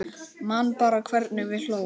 Man bara hvernig við hlógum.